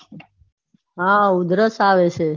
હા ઉધરસ આવે છે.